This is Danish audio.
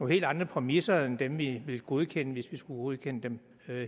helt andre præmisser end dem vi ville godkende hvis vi skulle godkende dem